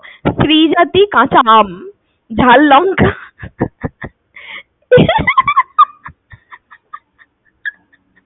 স্ত্রী জাতী কাঁচা আম ঝাল লঙ্কা